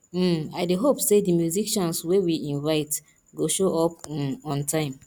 um i dey hope sey di musicians wey we invite go show up um on time